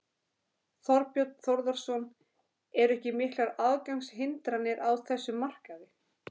Þorbjörn Þórðarson: Eru ekki miklar aðgangshindranir á þessum markaði?